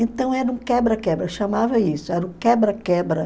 Então era um quebra-quebra, chamava isso, era um quebra-quebra.